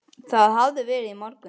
Það hafði verið í morgun.